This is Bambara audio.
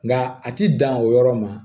Nka a ti dan o yɔrɔ ma